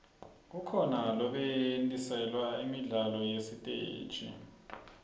kukhona lobetjgntiselwa imidlalo yasesiteji